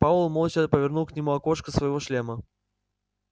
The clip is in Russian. пауэлл молча повернул к нему окошко своего шлема